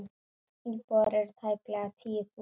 Íbúar eru tæplega tíu þúsund.